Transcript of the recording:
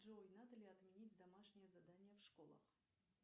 джой надо ли отменить домашнее задание в школах